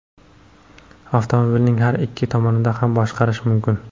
Avtomobilning har ikki tomonidan ham boshqarish mumkin.